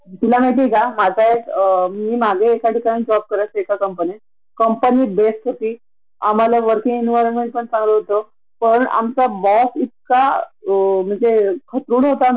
आणि आठ वाजेनन्तर घरी पोहचाला नऊ साडे नऊ होतात ग मूल कधी कधी उपाशी झोपून जातात ग नवरा आलेला असतो वैतागून तो चिडचिड करतो आणि एकाद दिवशी मेड ने सुट्टी घेतली असली तर सगळाच घोणदळ असतो घरामध्ये